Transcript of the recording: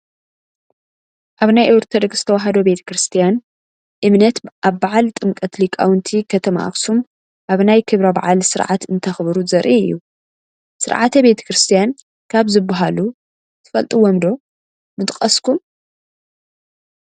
ኣብ ናይ ኦርቶዶክስ ተዋህዶ ቤተ ክርስትያን እምነት ኣብ በዓል ጥምቀት ሊቃውንቲ ከተማ ኣክሱም ኣብ ናይ ክብረ በዓል ስርዓት እንተኽብሩ ዘርኢ እዩ፡፡ ስርዓተ ቤተ ክርስትያ ካብ ዝሸባሃሉ ትፈልጥዎም ዶ ምጠቐስኩም?